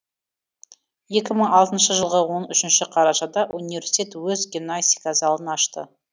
екі мың алтыншы жылғы он үшінші қарашада университет өз гимнастика залын ашты